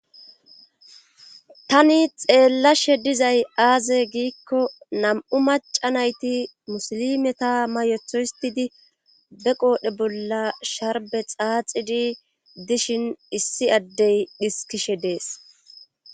Tani xeellashe dizay aaze giikko nam7u maca nayti musili meta mayethohistidi be qoodhe bolla sharbe xaaxidi dishin issi addey dhiskishe dees.